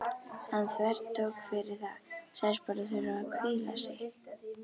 Hann þvertók fyrir það, sagðist bara þurfa að hvíla sig.